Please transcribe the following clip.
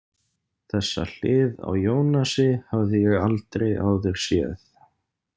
Þessa hlið á Ionasi hafði ég aldrei áður séð.